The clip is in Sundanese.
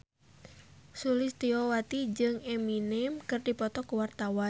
Sulistyowati jeung Eminem keur dipoto ku wartawan